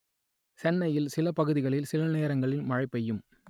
சென்னையில் சில பகுதிகளில் சில நேரங்களில் மழை பெய்யும்